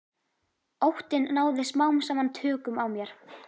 Óttinn náði smám saman tökum á mér.